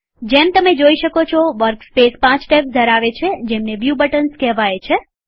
જેમ તમે જોઈ શકો છોવર્કસ્પેસ પાંચ ટેબ્સ ધરાવે છે જેમને વ્યુ બટન્સ કહેવાય છે